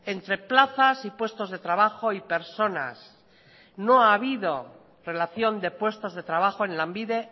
entre plazas y puestos de trabajo y personas no ha habido relación de puestos de trabajo en lanbide